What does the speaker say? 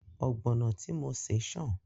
Ọ̀gbọ̀nọ̀ tí mo ṣè ṣàn